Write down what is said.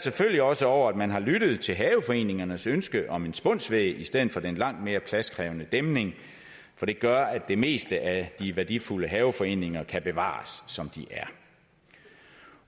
selvfølgelig også over at man har lyttet til haveforeningernes ønske om en spunsvæg i stedet for den langt mere pladskrævende dæmning for det gør at det meste af de værdifulde haveforeninger kan bevares som de er